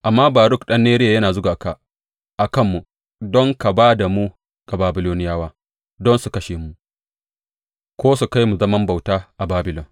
Amma Baruk ɗan Neriya yana zuga ka a kanmu don ka ba da mu ga Babiloniyawa, don su kashe mu ko su kai mu zaman bauta a Babilon.